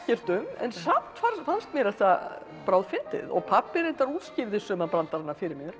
um en samt fannst mér þetta bráðfyndið og pabbi reyndar útskýrði suma brandarana fyrir mér